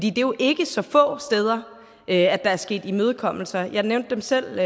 er jo ikke så få steder at der er sket imødekommelser jeg nævnte dem selv